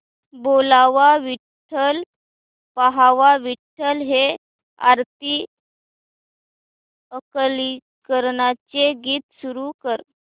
बोलावा विठ्ठल पहावा विठ्ठल हे आरती अंकलीकरांचे गीत सुरू कर